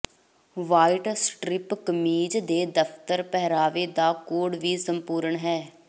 white strip ਕਮੀਜ਼ ਦੇ ਦਫ਼ਤਰ ਪਹਿਰਾਵੇ ਦਾ ਕੋਡ ਲਈ ਸੰਪੂਰਣ ਹੈ